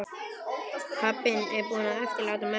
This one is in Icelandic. Pabbinn búinn að eftirláta mömmunni húsið.